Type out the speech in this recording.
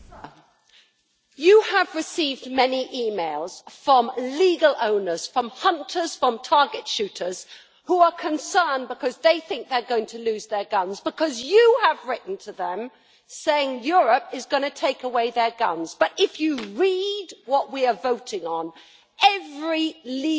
You have received many emails from legal owners from hunters, from target shooters who are concerned because they think that they are going to lose their guns. This because you have written to tell them that Europe is going to take away their guns, but, if you read what we are voting on, you will see that every legal owner